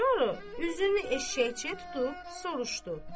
Sonra üzünü eşşəkçiyə tutub soruşdu: